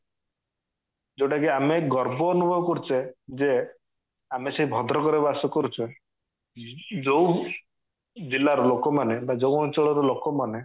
ଯୋଉଟା କି ଆମେ ଗର୍ବ ଅନୁଭବ କରୁଚେ ଯେ ଆମେ ସେ ଭଦ୍ରକ ରେ ବାସ କରୁଚେ ଯୋଉ ଜିଲ୍ଲା ର ଲୋକ ମାନେ ବା ଯୋଉ ଅଞ୍ଚଳ ର ଲୋକ ମାନେ